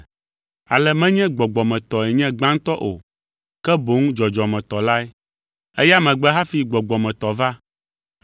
Ale menye gbɔgbɔmetɔe nye gbãtɔ o, ke boŋ dzɔdzɔmetɔ lae. Eya megbe hafi gbɔgbɔmetɔ va.